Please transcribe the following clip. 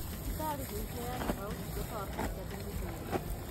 Thibitarĩ nĩiheanaga ũtungata wa kũruta thumu mwĩrĩ-inĩ